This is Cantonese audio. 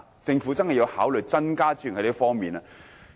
政府真的要考慮就這方面增撥資源。